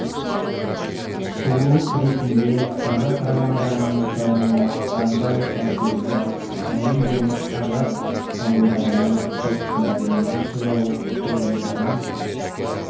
құбылыс ретінде қазақ романдарының дамуына қандай әсері бар әлем және қазақ ғалымдарының постмодернизм туралы тұжырымдарын